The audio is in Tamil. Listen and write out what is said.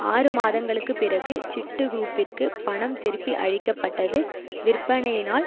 ஆறு மாதங்களுக்கு பிறகு சிட்டுகுரூப்பிற்கு பணம் திருப்பி அளிக்க பட்டது விற்பனையினால்